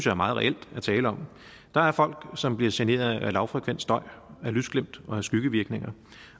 er meget reelt at tale om der er folk som bliver generet af lavfrekvent støj lysglimt og skyggevirkninger